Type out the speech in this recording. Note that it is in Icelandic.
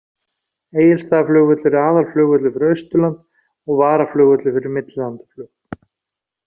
Egilsstaðaflugvöllur er aðalflugvöllur fyrir Austurland og varaflugvöllur fyrir millilandaflug.